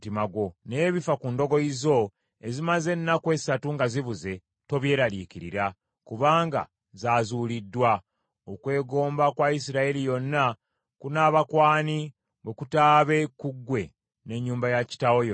Naye ebifa ku ndogoyi zo ezimaze ennaku essatu nga zibuze, tobyeraliikirira, kubanga zaazuuliddwa. Okwegomba kwa Isirayiri yonna kunaaba kw’ani, bwe kutaabe ku ggwe n’ennyumba ya kitaawo yonna?”